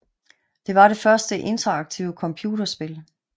Det var det første interaktive computerspil